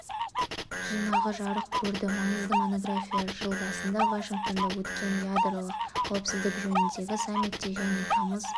жинағы жарық көрді маңызды монография жыл басында вашингтонда өткен ядролық қауіпсіздік жөніндегі саммитте және тамыз